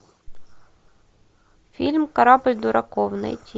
фильм корабль дураков найти